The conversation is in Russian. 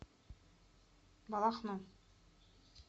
балахну